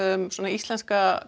íslenska